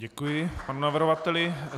Děkuji panu navrhovateli.